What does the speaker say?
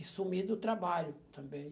E sumi do trabalho também.